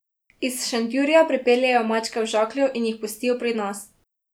Iz Šentjurja pripeljejo mačke v žaklju in jih pustijo pri nas.